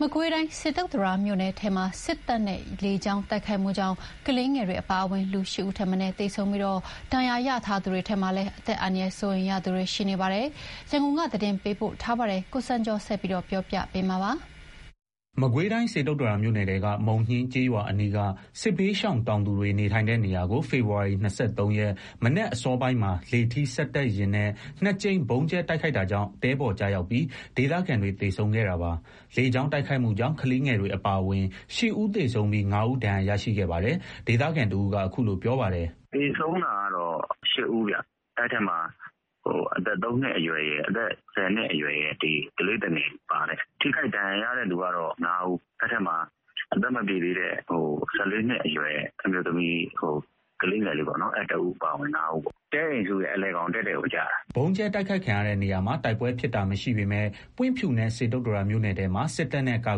မကွေးတိုင်း စေတုတ္တရာမြို့နယ်ထဲမှာ စစ်တပ်ရဲ့ လေကြောင်းတိုက်ခိုက်မှုကြောင့် ကလေးငယ်တွေ အပါအဝင် ၈ ဦး သေဆုံးပြီး ဒဏ်ရာရထားသူတွေထဲမှာလည်း အသက်အန္တရာယ် စိုးရိမ်ရသူတွေ ရှိနေပါတယ်။ ရန်ကုန်က သတင်းပေးပို့ထားပါတယ်။ မကွေးတိုင်း စေတုတ္တရာမြို့နယ်ထဲက မုံညှင်းကျေးရွာအနီး စစ်ဘေးရှောင် တောင်သူတွေ နေထိုင်တဲ့နေရာကို ဖေဖော်ဝါရီ ၂၃ ရက် မနက်အစောပိုင်းမှာ လေထီးစက်တပ်ယာဉ်နဲ့ ၂ ကြိမ် ဗုံးကြဲတိုက်ခိုက်တာကြောင့် တဲပေါ်ကျရောက်ပြီး ဒေသခံတွေ သေဆုံးခဲ့တာပါ။ လေကြောင်း တိုက်ခိုက်မှုကြောင့် ကလေးငယ်တွေ အပါအဝင် ၈ ဦး သေဆုံးပြီး ၅ ဦး ဒဏ်ရာရရှိခဲ့ပါတယ်။ ဒေသခံတဦးက အခုလို ပြောပါတယ်။ "သေဆုံးတာကတော့ ၈ ဦးခင်ဗျ။ အဲ့ထဲမှာအသက် ၃ နှစ်အရွယ်ရယ် ၁၀ နှစ်အရွယ်ရယ် ကလေးသူငယ်တွေပါတယ်။ ထိခိုက်ဒဏ်ရာရတဲ့သူက ၅ ဦး။ အဲ့ထဲမှာ အသက်မပြည့်သေးတဲ့ ၁၄ နှစ်အရွယ် အမျိုးသမီးကလေးငယ် ၁ ဦး ပါဝင်တယ်။ တဲအိမ်စုရဲ့ အလယ်ခေါင်တည့်တည့်ကို ကျတာ။ " ဗုံးကြဲတိုက်ခိုက်ခံရတဲ့နေရာမှာ တိုက်ပွဲဖြစ်တာမရှိပေမယ့် ပွင့်ဖြူနဲ့ စေတုတ္တရာမြို့နယ်ထဲမှာ စစ်တပ်နဲ့ ကာ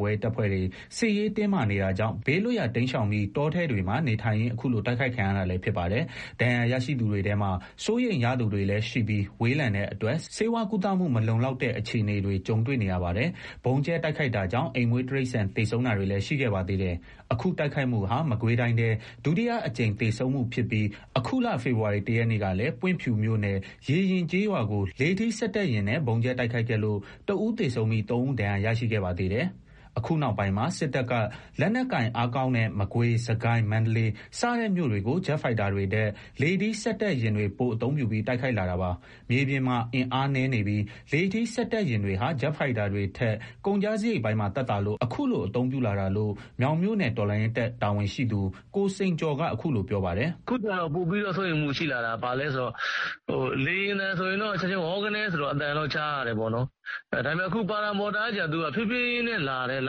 ကွယ်ရေးတပ်ဖွဲ့တွေ စစ်ရေးတင်းမာနေတာကြောင့် ဘေးလွတ်ရာ တိမ်းရှောင်ပြီး တောထဲတွေမှာနေထိုင်ရင်း အခုလို တိုက်ခိုက်ခံရတာလည်း ဖြစ်ပါတယ်။ ဒဏ်ရာရရှိသူတွေထဲမှာ စိုးရိမ်ရသူတွေလည်းရှိပြီး ဝေးလံတဲ့အတွက် ဆေးဝါးကုသမှု မလုံလောက်တဲ့ အခြေအနေတွေကြုံတွေ့နေရပါတယ်။ ဗုံးကြဲတိုက်ခိုက်တာကြောင့် အိမ်မွေးတိရစ္ဆာန် သေဆုံးတာတွေလည်းရှိခဲ့ပါသေးတယ်။ အခုတိုက်ခိုက်မှုဟာ မကွေးတိုင်းထဲ ဒုတိယအကြိမ် သေဆုံးမှုဖြစ်ပြီး အခုလ ဖေဖော်ဝါရီ ၁ ရက်ကလည်း ပွင့်ဖြူမြို့နယ် ရေယဉ်ကျေးရွာကို လေထီး စက်တပ်ယာဉ်နဲ့ ဗုံးကြဲတိုက်ခိုက်ခဲ့လို့ ၁ ဦး သေဆုံးပြီး ၃ ဦး ဒဏ်ရာရရှိခဲ့ပါသေးတယ်။ အခုနောက်ပိုင်းမှာ စစ်တပ်က လက်နက်ကိုင်အားကောင်းတဲ့ မကွေး၊ စစ်ကိုင်း၊ မန္တလေး စတဲ့မြို့တွေကို ဂျက်ဖိုက်တာတွေထက် လေထီးစက်တပ်ယာဉ်တွေ ပိုအသုံးပြုပြီး တိုက်ခိုက်လာတာပါ။ မြေပြင်မှာ အင်အားနည်းနေပြီး လေထီးစက်တပ်ယာဉ်တွေဟာ ဂျက်ဖိုက်တာတွေထက် ကုန်ကျစရိတ်ပိုင်းမှာ သက်သာလို့ အခုလို အသုံးပြုလာတာလို့ မြောင်မြို့နယ် တော်လှန်ရေးတပ် တာဝန်ရှိသူ ကိုစိန်ကျော်က အခုလိုပြောပါတယ်။ “အခုက ပိုပြီး စိုးရိမ်မှုရှိလာတာက ဘာလဲဆိုတော့ လေယာဉ်သံဆိုရင် ဝေါကနဲဆိုပြီး အသံတော့ ကြားရတယ်ပေါ့။ လေထီးစက်တပ်ကကြတော့ ဖြေးဖြေးချင်းလာပြီး ရ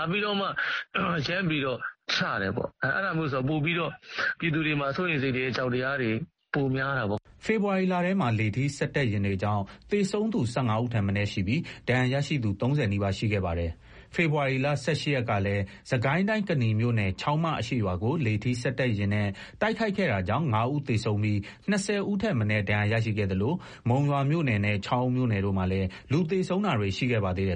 ပ်ပြီး ချတယ်ဆိုတော့ ပြည်သူတွေမှာ စိုးရိမ်စိတ်တွေ အကြောက်တရားတွေ ပိုများတာပေါ့။" ဖေဖော်ဝါရီလထဲမှာ လေထီးစက်တပ်ယာဉ်တွေကြောင့် သေဆုံးသူ ၁၅ ဦးထက်မနည်းရှိပြီး ဒဏ်ရာရရှိသူ ၃၀ နီးပါး ရှိခဲ့ပါတယ်။ ဖေဖော်ဝါရီ ၁၈ ရက်ကလည်း စစ်ကိုင်းတိုင်း ကနီမြို့နယ် ချောင်းမအရှေ့ရွာကို လေထီးစက်တပ်ယာဉ်နဲ့ တိုက်ခိုက်ခဲ့တာကြောင့် ၅ ဦး သေဆုံးပြီး ၂၀ ထက် မနည်း ဒဏ်ရာရရှိခဲ့သလို မုံရွာမြို့နယ်နဲ့ ချောင်းဦးမြို့နယ်တို့မှာလည်း လူသေဆုံးတာတွေ ရှိခဲ့ပါသေးတယ်